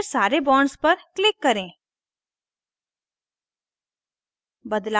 फिर सारे bonds पर click करें